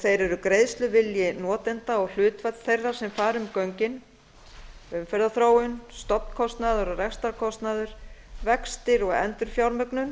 þeir eru greiðsluvilji notenda og hlutfall þeirra sem fara um göngin umferðarþróun stofnkostnaður og rekstrarkostnaður vextir og endurfjármögnun